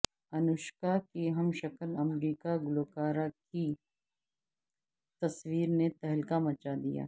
انوشکا کی ہمشکل امریکی گلوکارہ کی تصویر نے تہلکہ مچا دیا